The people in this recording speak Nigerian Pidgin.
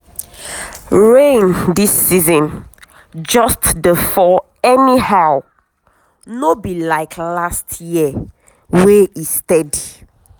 rain this season just dey fall anyhow no be like last year wey e steady.